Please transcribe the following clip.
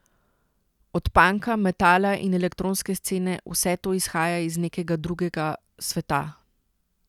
Od panka, metala in elektronske scene, vse to izhaja iz nekega drugega sveta.